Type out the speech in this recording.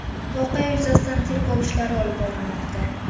Voqea yuzasidan tergov ishlari olib borilmoqda.